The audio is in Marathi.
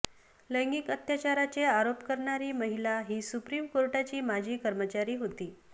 लैंगिक अत्याचाराचे आरोप करणारी महिला ही सुप्रीम कोर्टाची माजी कर्मचारी होती